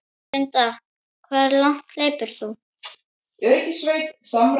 Linda: Hve langt hleypur þú?